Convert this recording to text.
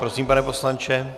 Prosím, pane poslanče.